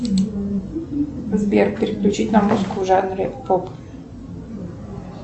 сбер переключить на музыку в жанре поп